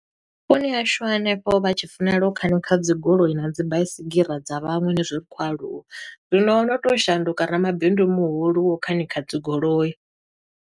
Vhuponi ha hashu hanefho vha tshi funela u khanikha dzi goloi na dzi baisigira dza vhaṅwe henizwi ri khou aluwa. Zwino o no to shanduka ramabindu muhulu wo u khanikha dzi goloi.